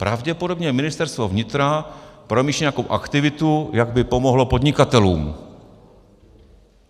Pravděpodobně Ministerstvo vnitra promýšlí nějakou aktivitu, jak by pomohlo podnikatelům.